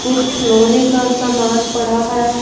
कुछ लोहे का सामान पड़ा है।